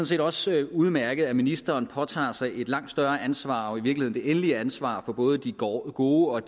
set også udmærket at ministeren påtager sig et langt større ansvar og i virkeligheden det endelige ansvar for både de gode gode og